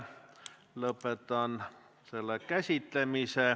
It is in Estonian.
Lõpetan selle käsitlemise.